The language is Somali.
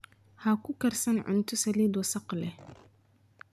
Ha ku karsan cunto saliid wasakh leh.